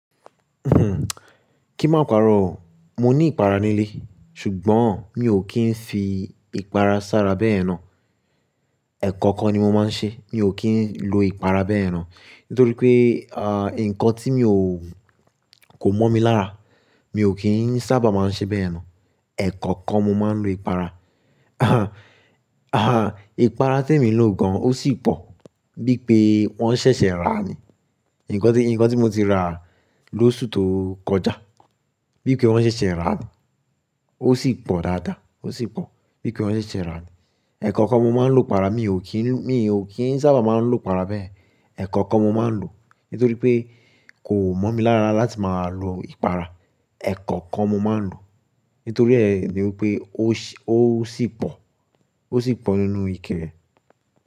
Kí má paro o mo ní ìpara nílé, ṣùgbọ́n mi ò kí ń fi ìpara sára bẹ́yen náà. Ẹ̀ẹ̀kọ̀kan ni mo máa ń ṣe, mi ò kí ń lo ìpara bẹ́yen náà. Nítorí pé, ah, nǹkan tí mi ò, kò mọ̀ mi lára, mi ò kí ń sábà máa ń ṣe bẹ́yen náà. Ẹ̀ẹ̀kọ̀kan mo máa ń lo ìpara. Ìpara tí èmi lò gan, ó sì pọ̀ bí i pé wọ́n ṣẹ̀ṣẹ̀ rà ni. Nǹkan tí, nǹkan tí mo ti rà lóṣù tó kọjá, bí i pé wọ́n ṣẹ̀ṣẹ̀ rà ni. Ó sì pọ̀ dáadáa, ó sì pọ̀ bí i pé wọ́n ṣẹ̀ṣẹ̀ rà ni. Ẹ̀ẹ̀kọ̀kan mo máa ń lo ìpara, mi ò kí ń, mi ò kí ń sábà máa ń lo ìpara bẹ́yen Ẹ̀ẹ̀kọ̀kan mo máa ń lò. Nítorí pé kò mọ̀ mi lára láti máa lo ìpara. Ẹ̀ẹ̀kọ̀kan mo máa ń lò. Nítorí ẹ ni wípé ó ṣì pọ̀, ó sì pọ̀ nínú ike re.